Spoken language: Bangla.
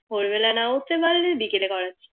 ভোর বেলা না উঠতে পারলে বিকেলে করাচ্ছে